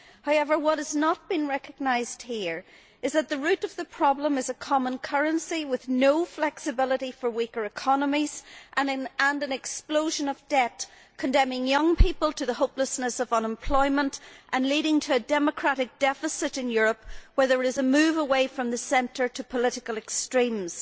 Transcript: However, what has not been recognised here is that the root of the problem is a common currency, with no flexibility for weaker economies, and an explosion of debt, condemning young people to the hopelessness of unemployment and leading to a democratic deficit in Europe, with a move away from the centre towards political extremes.